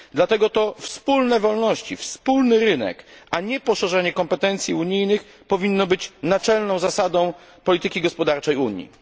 Dlatego to wspólne wolności, wspólny rynek, a nie poszerzenie kompetencji unijnych powinno być naczelną zasadą polityki gospodarczej Unii.